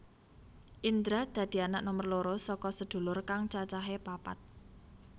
Indra dadi anak nomer loro saka sedulur kang cacahé papat